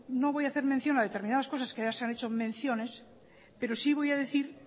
no voy a hacer mención a determinadas cosas que ya se han hecho menciones pero sí voy a decir